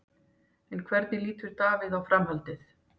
En hvernig lítur Davíð á framhaldið?